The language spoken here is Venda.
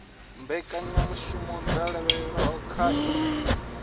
mbekanyamushumo dzo lavhelelwaho kha ii